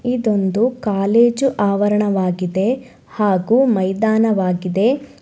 ಇದೊಂದು ಕಾಲೇಜು ಆವರಣವಾಗಿದೆ ಹಾಗು ಮೈದಾನವಾಗಿದೆ.